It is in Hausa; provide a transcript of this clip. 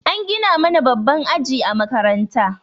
An gina mana babban aji a makaranta.